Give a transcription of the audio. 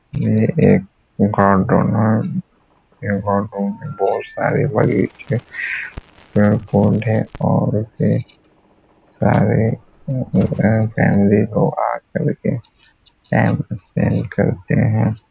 ये एक गार्डन है। ये गार्डन में बहुत सारे बड़े पेड़-पौधे और ढेर सारे फॅमिली लोग आ कर के टाइम स्पेंड करते हैं।